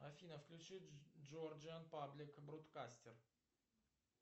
афина включи джорджиан паблик бродкастер